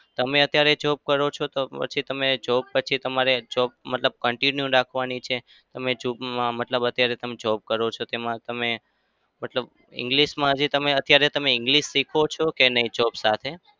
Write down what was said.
તમે અત્યારે job કરો છો તો પછી તમે job પછી તમારે job continue રાખવાની છે? તમે મતલબ તમે અત્યારે તમે job કરો છો તેમાં મતલબ english માં અત્યારે તમે english શીખો છો કે નઈ job સાથે?